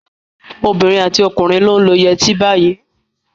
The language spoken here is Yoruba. Obìnrin àti ọkùnrin ló ń lo yẹrí etí báyìí.